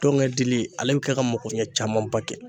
Tɔnkɛ dili ale be kɛ ka makoɲɛ camanba kɛ.